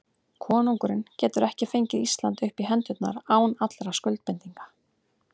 Konungurinn getur ekki fengið Ísland upp í hendurnar án allra skuldbindinga.